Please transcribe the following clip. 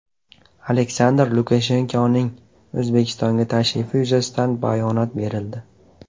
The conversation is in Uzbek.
Aleksandr Lukashenkoning O‘zbekistonga tashrifi yuzasidan bayonot berildi.